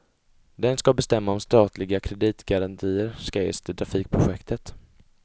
Den ska bestämma om statliga kreditgarantier ska ges till trafikprojektet.